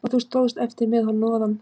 Og þú stóðst eftir með hnoðann